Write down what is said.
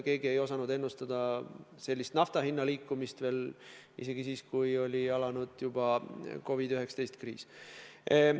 Keegi ei osanud ennustada sellist nafta hinna liikumist isegi siis, kui oli alanud juba COVID-19 kriis.